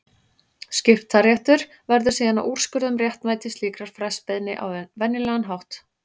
Skiptaréttur verður síðan að úrskurða um réttmæti slíkrar frestbeiðni á venjulegan hátt.